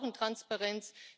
Wir brauchen Transparenz.